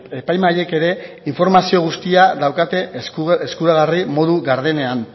epaimahaiek ere informazio guztia daukate eskuragarri modu gardenean